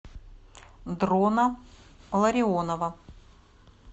дрона ларионова